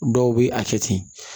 Dɔw bɛ a kɛ ten